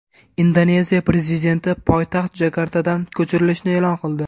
Indoneziya prezidenti poytaxt Jakartadan ko‘chirilishini e’lon qildi.